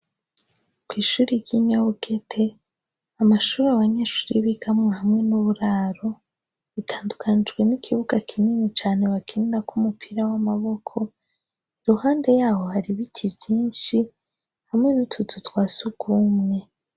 Kw'ishuri ry'inyawugete amashuru abanyeshuri y'ibigamwe hamwe n'uburaro bitandukanijwe n'ikibuga kinini cane bakinirako umupira w'amaboko iruhande yaho hari biti vyinshi hamwe n'utuzu twasi ugumwe.